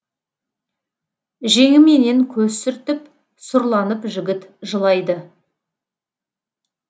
жеңіменен көз сүртіп сұрланып жігіт жылайды